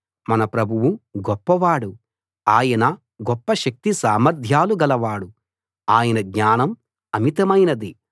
మన ప్రభువు గొప్పవాడు ఆయన గొప్ప శక్తి సామర్ధ్యాలు గలవాడు ఆయన జ్ఞానం అమితమైనది